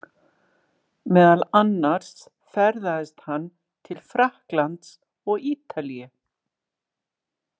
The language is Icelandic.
Meðal annars ferðaðist hann til Frakklands og Ítalíu.